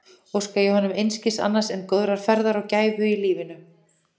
Óska ég honum einskis annars en góðrar ferðar og gæfu í lífinu.